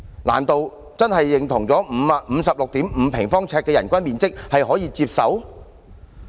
難道真的認同 56.5 平方呎的人均面積是可以接受的？